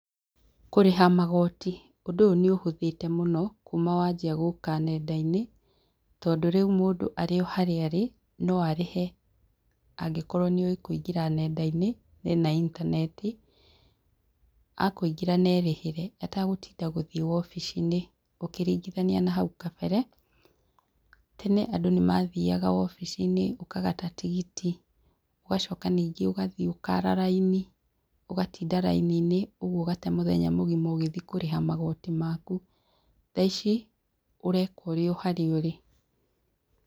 Kũrĩha magoti ũndũ ũyũ nĩũhũthĩte mũno kuma wanjia gũka nendainĩ tondũ rĩu mũndũ arĩ o haria arĩ no arĩhe angĩkorwo nĩoe kũingĩra nendainĩ na ena intaneti akũingĩra na erĩhĩre atagũtinda gũthie wobici-inĩ ũkĩringithania na hau kabere. Tene andũ nĩmathiaga wobici-inĩ ũkagata tigiti ũgacoka ningĩ ũgathiĩ ũkara raini ũgatinda raini-inĩ ũgate mũthenya mũgima ũgĩthiĩ kũrĩha magoti maku, thaa ici ũreka ũrĩ o harĩa ũrĩ.